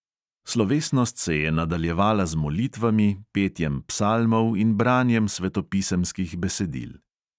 Slovesnost se je nadaljevala z molitvami, petjem psalmov in branjem svetopisemskih besedil.